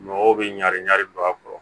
Mɔgɔw bɛ ɲan ɲari ba kɔrɔ